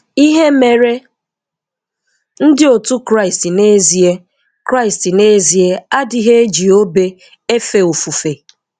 Ihe Mere Ndị Òtú Kraịst N'ezie Kraịst N'ezie Adịghị E ji Obe Efe Ofufe